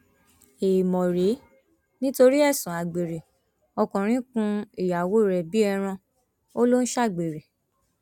èèmọ rèé nítorí ẹsùn àgbèrè ọkùnrin kún ìyàwó rẹ bíi ẹran ó lọ ń ṣàgbèrè